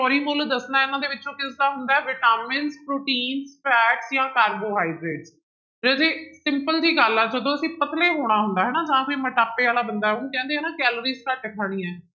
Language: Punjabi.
ਮੁੱਲ ਦੱਸਣਾ ਹੈ ਇਹਨਾਂ ਦੇ ਵਿੱਚੋਂ ਕਿਸਦਾ ਹੁੰਦਾ ਹੈ ਵਿਟਾਮਿਨ, ਪ੍ਰੋਟੀਨ fat ਜਾਂ ਕਾਰਬੋਹਾਈਡ੍ਰੇਟ, ਰਾਜੇ simple ਜਿਹੀ ਗੱਲ ਆ ਜਦੋਂ ਅਸੀਂ ਪਤਲੇ ਹੋਣੇ ਹੁੰਦਾ ਹਨ ਜਾਂ ਫਿਰ ਮੁਟਾਪੇ ਵਾਲਾ ਬੰਦਾ ਉਹਨੂੰ ਕਹਿੰਦੇ ਹੈ ਨਾ ਕੈਲਰੀਜ ਘੱਟ ਖਾਣੀ ਹੈ।